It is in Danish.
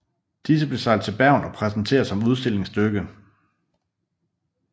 Disse blev sejlet til Bergen og præsenteret som udstillingsstykke